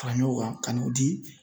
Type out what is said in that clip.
Fara ɲɔgɔn kan ka n'o di